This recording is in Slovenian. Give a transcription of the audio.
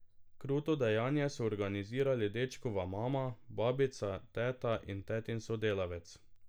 Kruto dejanje so organizirali dečkova mama, babica, teta in tetin sodelavec.